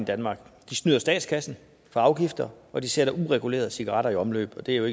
i danmark de snyder statskassen for afgifter og de sætter uregulerede cigaretter i omløb og det er jo